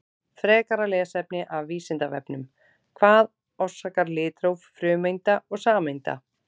Frekara lesefni af Vísindavefnum: Hvað orsakar litróf frumeinda og sameinda?